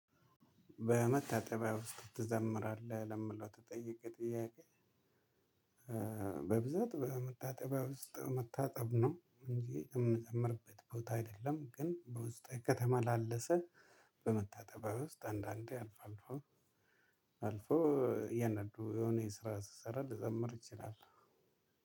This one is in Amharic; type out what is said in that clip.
በመታጠቢያ ውስጥ ትዘምራለህ ለምለው ተጠየቀ ጥያቄ? በብዛት በመታጠቢያ ውስጥ መታጠብ ነው እንጂ የምዘምርበት ቦታ አይደለም ግን በውስጥ ከተማ ላለ ሰው። በመታጠቢያ ውስጥ አንዳንዴ አልፎ አልፎ አልፎ እያንዳንዱ የሆነ የስራ ስሰራ ልዘምር እችላለው።